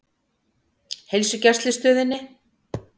Heilsugæslustöðinni